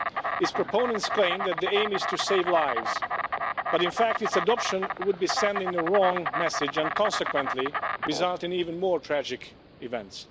Its proponents claim that the aim is to save lives, but in fact its adoption would be sending the wrong message and would consequently result in even more tragic events.